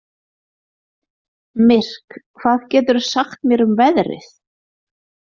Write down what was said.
Myrk, hvað geturðu sagt mér um veðrið?